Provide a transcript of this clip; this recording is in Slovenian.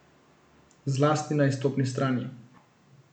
Zlasti na izstopni strani.